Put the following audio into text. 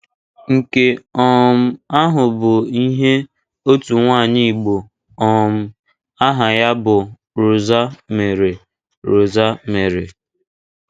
Nke um ahụ bụ ihe otu nwaanyị Igbo um aha ya bụ Rosa mere. Rosa mere.